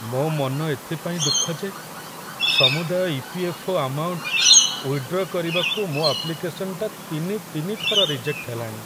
ମୋ' ମନ ଏଥିପାଇଁ ଦୁଃଖ ଯେ ସମୁଦାୟ ଇ.ପି.ଏଫ୍.ଓ. ଅମାଉଣ୍ଟ ୱିଦ୍‌ଡ୍ର କରିବାକୁ ମୋ' ଆପ୍ଲିକେସନଟା ତିନି ତିନି ଥର ରିଜେକ୍ଟ ହେଲାଣି ।